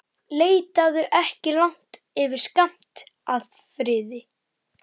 Leitaðu ekki langt yfir skammt að friði.